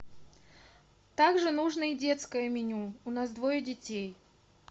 также нужно и детское меню у нас двое детей